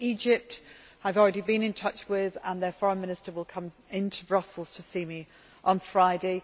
to Egypt I have already been in touch with them, and their Foreign Minister will come to Brussels to see me on Friday.